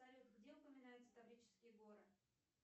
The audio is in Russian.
салют где упоминаются таврические горы